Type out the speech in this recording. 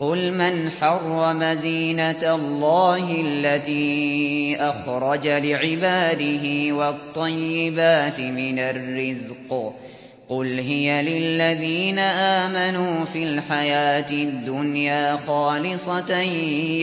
قُلْ مَنْ حَرَّمَ زِينَةَ اللَّهِ الَّتِي أَخْرَجَ لِعِبَادِهِ وَالطَّيِّبَاتِ مِنَ الرِّزْقِ ۚ قُلْ هِيَ لِلَّذِينَ آمَنُوا فِي الْحَيَاةِ الدُّنْيَا خَالِصَةً